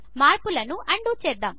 మార్పులను అన్డూ చేద్దాము